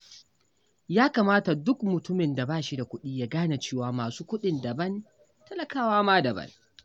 Ya kamata duk mutumin da ba shi da kuɗi ya gane cewa masu kuɗin daban, talakawa ma daban.